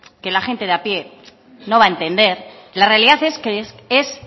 que la gente de a pie no va a entender la realidad es que es